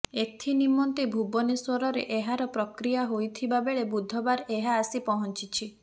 ଏଥିନିମନ୍ତେ ଭୁବନେଶ୍ୱରରେ ଏହାର ପ୍ରକ୍ରିୟା ହେଇଥିବା ବେଳେ ବୁଧବାର ଏହା ଆସି ପହଞ୍ଚିଛି